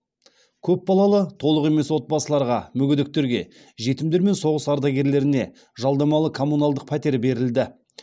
көпбалалы толық емес отбасыларға мүгедектерге жетімдер мен соғыс ардагерлеріне жалдамалы коммуналдық пәтер берілді